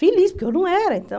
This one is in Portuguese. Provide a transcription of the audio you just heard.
Feliz, porque eu não era, então...